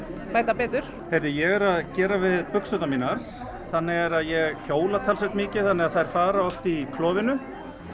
bæta betur ég er að gera við buxurnar mínar þannig er að ég hjóla talsvert mikið þannig að þær fara oft í klofinu